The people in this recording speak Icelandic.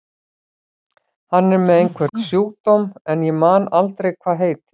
Hann er með einhvern sjúkdóm sem ég man aldrei hvað heitir.